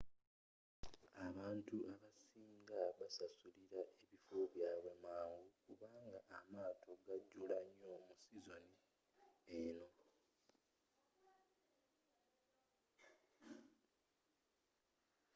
abantu abasing basasulila ebifo byabwe mangu kubanga amaato gajula nyo mu sizoni eno